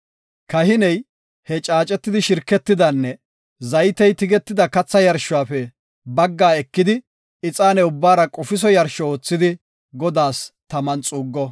Kahiney he caacetidi shirketidanne zaytey tigetida katha yarshuwafe bagga ekidi ixaane ubbaara qofiso yarsho oothidi Godaas taman xuuggo.